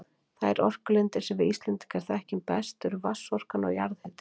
Þær orkulindir sem við Íslendingar þekkjum best eru vatnsorkan og jarðhitinn.